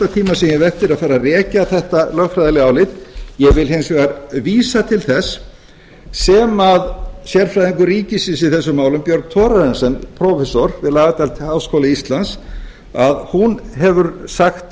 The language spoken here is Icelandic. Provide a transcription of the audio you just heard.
hef eftir að fara að rekja þetta lögfræðilega álit ég vil hins vegar vísa til þess sem sérfræðingur ríkisins í þessum málum björg thorarensen prófessor við lagadeild háskóla íslands að hún hefur sagt